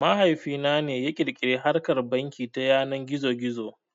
Mahaifi na ne ya ƙirƙiri harkar banki ta yanar gizo gizo